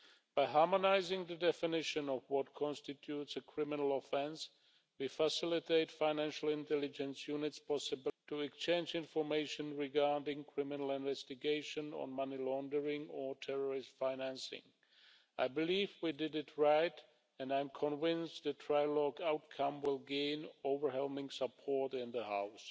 By harmonising the definition of what constitutes a criminal offence, we facilitate the possibility for financial intelligence units to exchange information regarding criminal investigation of money laundering or terrorist financing. I believe we did it right and I am convinced that the trilogue outcome will gain overwhelming support in the House.